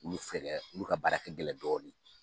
Olu fɛ dɛ n'u ka baara kɛ gɛlɛn dɔɔnin